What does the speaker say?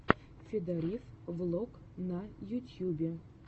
федорив влог на ютьюбе